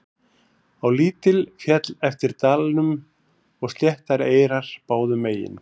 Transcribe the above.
Á lítil féll eftir dalnum og sléttar eyrar báðum megin.